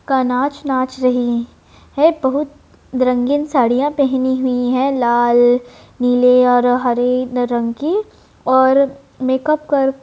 का नाच नाच रही है| बहुत रंगीन साड़ियाँ पहनी हुई है लाल नीले और हरे रंग की और मेकअप कर --